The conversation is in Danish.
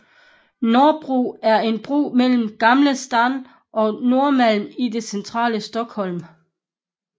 Norrbro er en bro mellem Gamla Stan og Norrmalm i det centrale Stockholm